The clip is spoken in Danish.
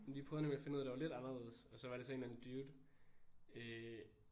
Vi prøvede nemlig at finde noget der var lidt anderledes og så var det så en eller anden dude øh